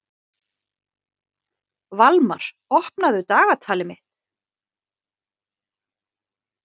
Valmar, opnaðu dagatalið mitt.